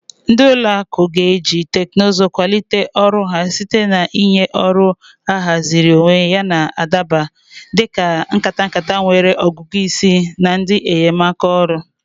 Ndị ụlọ akụ ga-eji teknụzụ kwalite ọrụ ha site na ịnye ọrụ ahaziri onwe yana adaba, dị ka nkata nkata nwere ọgụgụ isi na ndị enyemaka olu.